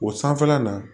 O sanfɛla na